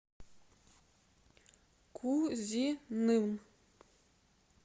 кузиным